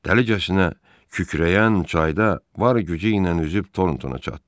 Təhlükəsinə kükrəyən çayda var gücü ilə üzüb Tortona çatdı.